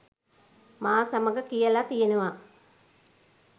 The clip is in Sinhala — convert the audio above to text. මා සමග කියලා තියෙනවා.